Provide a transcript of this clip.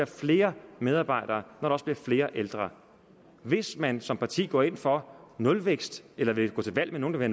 flere medarbejdere når der bliver flere ældre hvis man som parti går ind for nulvækst eller vil gå til valg med nogle der